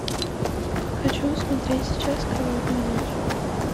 хочу смотреть сейчас кровавая ночь